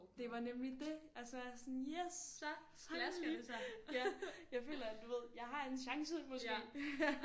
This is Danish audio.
Det var nemlig det altså jeg er sådan yes finally ja jeg føler at du ved jeg har en chance måske